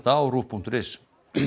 á ruv punktur is